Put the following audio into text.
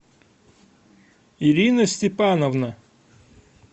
ирина степановна